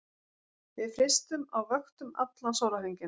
Við frystum á vöktum allan sólarhringinn